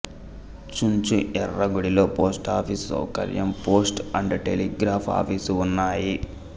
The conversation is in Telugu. చుంచు యెర్రగుడిలో పోస్టాఫీసు సౌకర్యం పోస్ట్ అండ్ టెలిగ్రాఫ్ ఆఫీసు ఉన్నాయి